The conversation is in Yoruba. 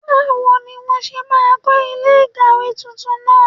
Báwo ni wọ́n ṣe máa kọ́ ilé ìkàwé tuntun náà?